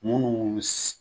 Munu bi